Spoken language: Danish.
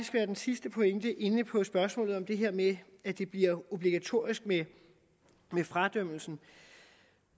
være min sidste pointe inde på spørgsmålet om det her med at det bliver obligatorisk med fradømmelsen